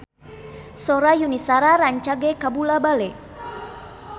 Sora Yuni Shara rancage kabula-bale